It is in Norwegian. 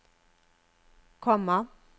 komma